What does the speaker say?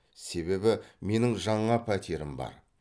себебі менің жаңа пәтерім бар